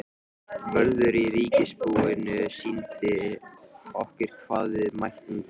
Vörður á ríkisbúinu sýndi okkur hvar við mættum tína.